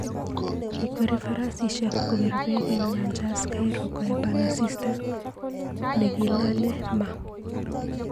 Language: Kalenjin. Kikweri farasishek kopir peek eng nyanjas Cairo koepan asista nekilale mm�ah